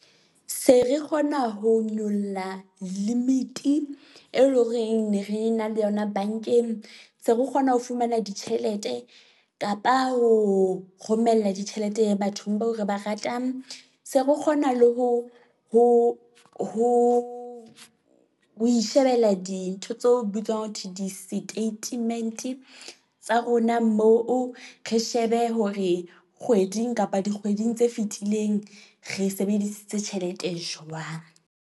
Se re kgona ho nyolla limit-i elong reng ne re na le yona bank-eng. Se re kgona ho fumana ditjhelete kapa ho romella ditjhelete bathong bao re ba ratang. Se re kgona le ho ho ho ho ishebella dintho tseo bitswang ho thweng di-statement-e tsa rona moo, re shebe hore kgweding kapa dikgweding tse fetileng re sebedisitse tjhelete jwang.